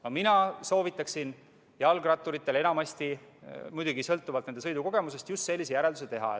No mina soovitaksin jalgratturitel – muidugi sõltuvalt nende sõidukogemusest – just sellise järelduse teha.